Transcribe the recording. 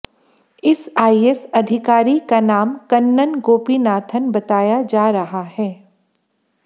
इस आईएस अधिकारी का नाम कन्नन गोपीनाथन बताया जा रहा है